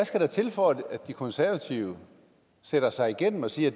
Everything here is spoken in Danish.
skal der til for at de konservative sætter sig igennem og siger